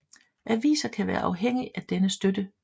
Aviser kan være afhængig af denne støtte